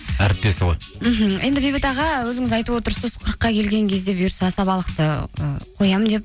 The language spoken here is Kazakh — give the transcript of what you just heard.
әріптесі ғой мхм енді бейбіт аға өзіңіз айтып отырсыз қырыққа келген кезде бұйырса асабалықты ы қоямын деп